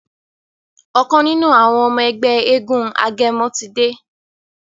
ọkàn nínú àwọn ọmọ Ègbé éégun agẹmọ tí dé.